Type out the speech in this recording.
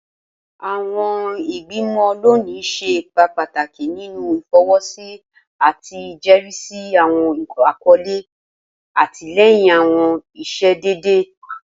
Awọn igbimọ loni ṣe ipa pataki ninu ifọwọsi ati ijẹrisi awọn akọle, atilẹyin awọn iṣedede.